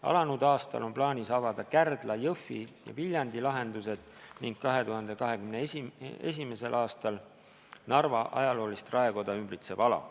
Alanud aastal on plaanis avada Kärdla, Jõhvi ja Viljandi lahendused ning 2021. aastal Narva ajaloolist raekoda ümbritsev ala.